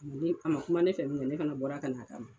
a ma kuma ne fɛ bilen ne fana bɔra ka na' kama ma.